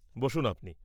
বসুন আপনি।